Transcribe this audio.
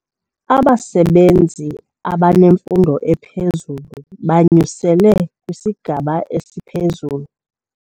Abasebenzi abanemfundo ephezulu banyuselwe kwisigaba esiphezulu.